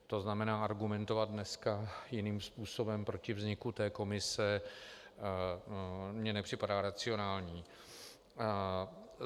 To znamená, argumentovat dneska jiným způsobem proti vzniku té komise mně nepřipadá racionální.